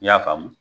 I y'a faamu